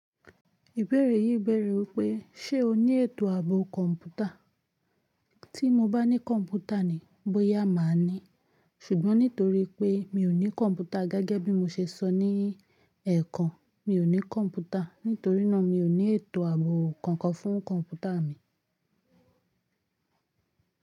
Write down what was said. Ìbéèrè yìí bẹ̀rẹ̀ wípé ṣe o ní ètò ààbò kọ̀ǹpútà? Tí mo bá ní kọ̀ǹpútà ni bóyá màá ní. Ṣùgbọ́n nítorí pé mi ò ní kọ̀ǹpútà gẹ́gẹ́ bí mo ṣe sọ ní ẹ̀ẹ̀kan, mi ò ní kọ̀ǹpútà. Nítorínà mi ò ní ètò ààbò kankan fún kọ̀ǹpútà mi.